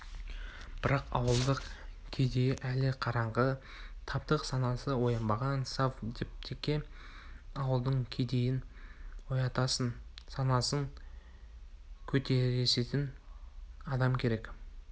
бірақ ауылдық кедейі әлі қараңғы таптық санасы оянбаған совдепке ауылдың кедейін оятысатын санасын көтерісетін адам керек